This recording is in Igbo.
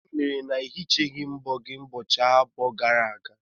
Gịnị kpatara na ị hichaghị mbọ gị ụbọchị abụọ gara aga?